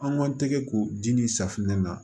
An man tɛgɛ ko dimi safunɛ na